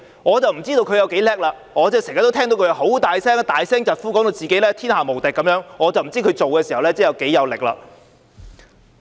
我不知道他有多了不起，我經常聽到他大聲疾呼，把自己說得天下無敵，但我不知道他做事時有多少力度。